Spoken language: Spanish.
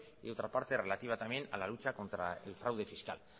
y otra parte relativa también a la lucha contra el fraude fiscal